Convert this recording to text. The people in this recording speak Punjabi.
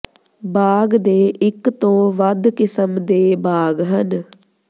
ਬਾਗ ਦੇ ਇਕ ਤੋਂ ਵੱਧ ਕਿਸਮ ਦੇ ਬਾਗ ਹਨ